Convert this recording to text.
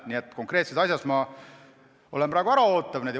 Nii et konkreetses asjas olen ma praegu äraootav.